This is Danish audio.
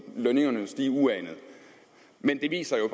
lønningerne stige uanet men det viser jo